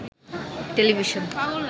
television